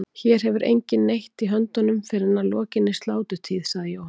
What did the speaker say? Hér hefur enginn neitt í höndunum fyrr en að lokinni sláturtíð, sagði Jóhann.